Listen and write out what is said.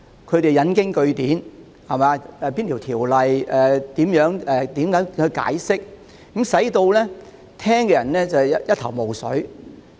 他們引經據典，講述按哪條條例應如何解釋，令人聽得一頭霧水。